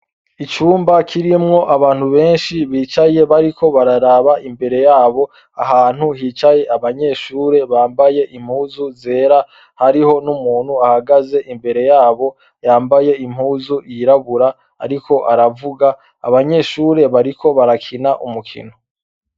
Icumba kirimwo abantu benshi bicaye bariko bararaba imbere yabo ahantu hicaye abanyeshure bambaye impuzu zera hariho n' umuntu ahagaze imbere yabo yambaye impuzu yirabura, ariko aravuga abanyeshure bariko barakina umukino.